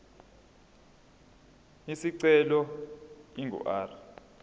isicelo ingu r